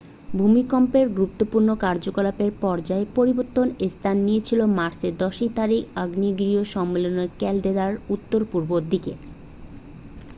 ভূমিকম্পের গুরুত্বপূর্ণ কার্যকলাপের পর্যায় পরিবর্তন স্থান নিয়েছিল মার্চের 10 তারিখে আগ্নেয়গিরি সম্মেলন ক্যালডেরার উত্তর পূর্ব দিকে